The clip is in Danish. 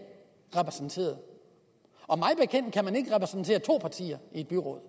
er repræsenteret to partier i byrådet